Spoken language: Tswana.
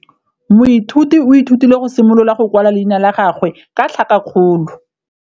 Moithuti o ithutile go simolola go kwala leina la gagwe ka tlhakakgolo.